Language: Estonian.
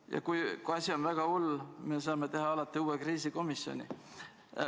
Ja kui asi on väga hull, saame me teha alati uue kriisikomisjoni.